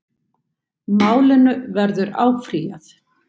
Málinu verður áfrýjað